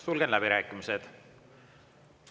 Sulgen läbirääkimised.